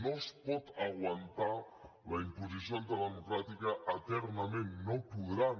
no es pot aguantar la imposició antidemocràtica eternament no podran